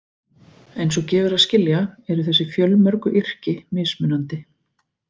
Eins og gefur að skilja eru þessi fjölmörgu yrki mismunandi.